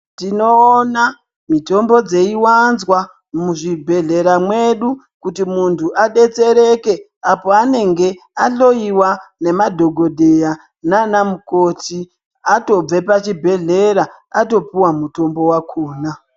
Tinoona mitombo dzeiwanzwa muzvibhedhlera mwedu kuti munthu adetsereke apo anenge ahloiwa nanadhokodheya nana mukoti atobve pachibhedhleys atopuwe mutombo wakhona.